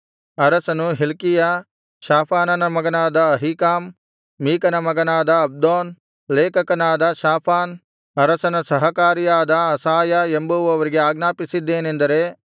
ಅರಸನು ಹಿಲ್ಕೀಯ ಶಾಫಾನನ ಮಗನಾದ ಅಹೀಕಾಮ್ ಮೀಕನ ಮಗನಾದ ಅಬ್ದೋನ್ ಲೇಖಕನಾದ ಶಾಫಾನ್ ಅರಸನ ಸಹಕಾರಿಯಾದ ಅಸಾಯ ಎಂಬುವವರಿಗೆ ಅಜ್ಞಾಪಿಸಿದೇನೆಂದರೆ